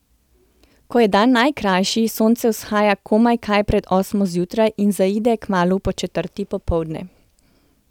Ko je dan najkrajši, sonce vzhaja komaj kaj pred osmo zjutraj in zaide kmalu po četrti popoldne.